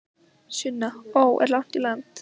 Sunna: Ó, er langt í land?